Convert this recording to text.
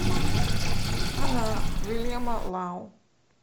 она уильяма лау